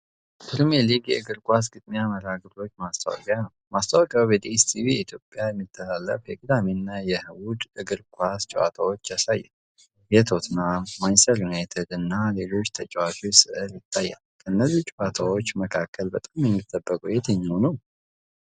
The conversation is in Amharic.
ፕሪሚየር ሊግ የእግር ኳስ ግጥሚያ መርሃግብር ማስታወቂያ ነው። ማስታወቂያው በዲኤስቲቪ ኢትዮጲያ የሚተላለፉትን የቅዳሜ እና እሁድ የእግር ኳስ ጨዋታዎች ያሳያል። የቶተንሃም፣ ማንችስተር ዩናይትድ እና ሌሎች ተጫዋቾች ሥዕል ይታያል። ከእነዚህ ጨዋታዎች መካከል በጣም የሚጠበቀው የትኛው ነው?